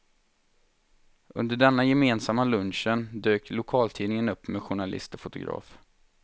Under den gemensamma lunchen dök lokaltidningen upp med journalist och fotograf.